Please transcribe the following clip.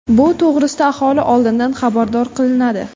Bu to‘g‘risida aholi oldindan xabardor qilinadi.